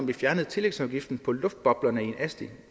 vi fjernede tillægsafgiften på luftboblerne i en asti